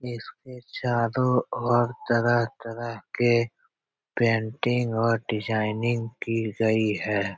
इसके चारों ओर तरह-तरह के पेंटिंग और डिजाइनिंग की गयी है ।